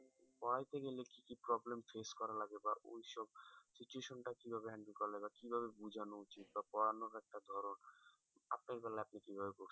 পড়াইতে গেলে কি কি problem face করা লাগে বা ওই সব situation টা কিভাবে handle করা লাগে কিভাবে বোঝানো উচিত বা পড়ানোর একটা ধরন আপনার বেলায় আপনি কিভাবে করতেন